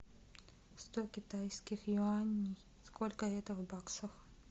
сто китайских юаней сколько это в баксах